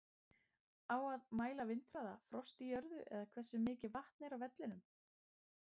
Á að mæla vindhraða, frost í jörðu eða hversu mikið vatn er á vellinum?